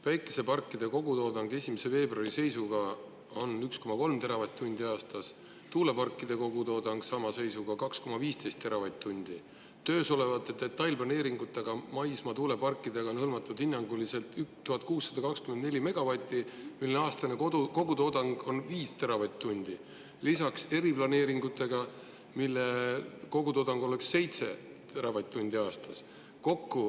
Päikeseparkide kogutoodang 1. veebruari seisuga on 1,3 teravatt-tundi aastas, tuuleparkide kogutoodang sama seisuga 2,15 teravatt-tundi, töös olevate detailplaneeringutega maismaatuuleparkidega on hõlmatud hinnanguliselt 1624 megavatti ja nende aastane kogutoodang on 5 teravatt-tundi, lisaks on eriplaneeringutega, mille kogutoodang oleks 7 teravatt-tundi aastas.